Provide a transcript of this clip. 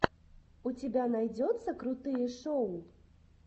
у тебя найдется крутые шоу